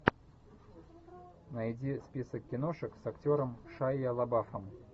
найди список киношек с актером шайа лабафом